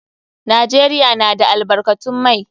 Najeriya na da albarkatun mai.